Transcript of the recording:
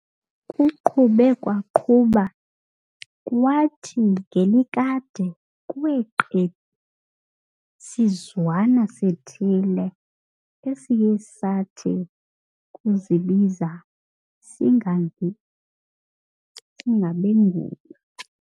Kuqhube kwaqhuba, kwathi ngelikade kwee qebu sizwana sithile, esiye sathi ukuzibiza singabenguni.